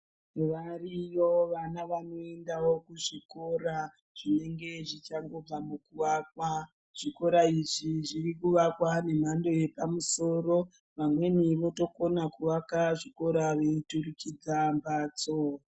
Variyo vana vanoendawo kuzvikora zvinenge zvichangobva mukuvakwa zvikora izvi zviri kuvakwa nemhando yepamusoro vamweni votokona kuaka zvikoro veiturikidza mhtso.